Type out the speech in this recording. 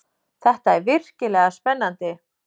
Þetta er virkilega spennandi!